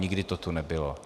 Nikdy to tu nebylo.